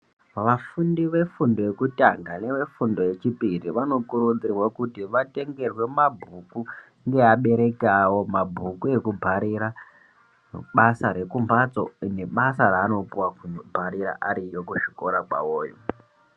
Vafundi vefundo yekutanga nevefundo yechipiri vanokurudzirwa kuti vatengerwe mabhuku ngeabereki awo, mabhuku ekubharira basa rekumbatso nebasa raanopuwa kubharira ariyo kuzvikora kwawoyo.